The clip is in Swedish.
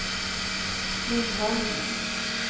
Lindholm